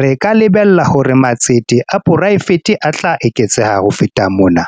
re ka lebella hore matsete a poraefete a tla eketseha ho feta mona.